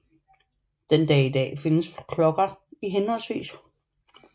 Den dag i dag findes klokker i hhv